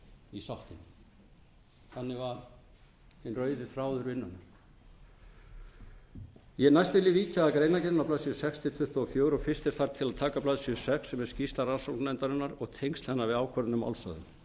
var hinn rauði þráður vinnunnar næst vil ég víkja að greinargerðinni á blaðsíðu sex til tuttugu og fjögur og fyrst er þar til að taka á blaðsíðu sex sem er skýrsla rannsóknarnefndarinnar og tengsl hennar við ákvörðun um málshöfðun